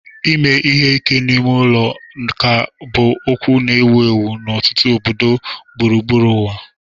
Ime ihe ike n'ime ụlọ ka bụ okwu na-ewu ewu n'ọtụtụ obodo gburugburu ụwa.